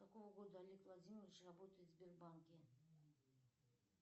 с какого года олег владимирович работает в сбербанке